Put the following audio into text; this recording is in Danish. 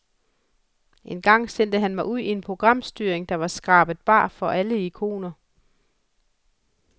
En gang sendte den mig ud i en programstyring, der var skrabet bar for alle ikoner.